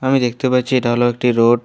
আমি দেখতে পাচ্ছি এটা হল একটি রোড ।